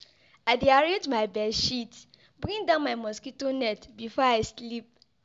I dey arrange my bed sheet, bring down my mosquito net before I sleep.